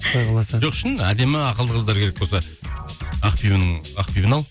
құдай қаласа жоқ шын әдемі ақылды қыздар керек болса ақбибіні ал